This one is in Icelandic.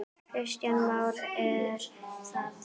Kristján Már: Er það?